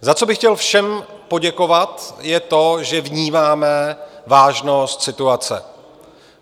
Za co bych chtěl všem poděkovat, je to, že vnímáme vážnost situace.